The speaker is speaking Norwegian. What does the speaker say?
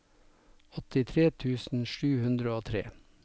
åttitre tusen sju hundre og tre